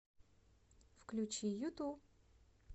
включи юту